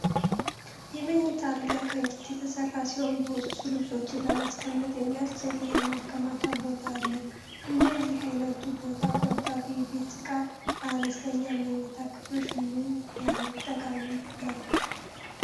የመኝታ አልጋ ከእንጨት የተሰራ ሲሆን በውስጡ ልብሶችን ለማስቀመጥ የሚያስችል የማከማቻ ቦታ አለው። እንደዚህ ዓይነቱ ቦታ ቆጣቢ የቤት ዕቃ ለአነስተኛ መኝታ ክፍሎች ምን ያህል ጠቃሚ ነው?